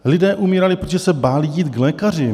Lidé umírali, protože se báli jít k lékaři.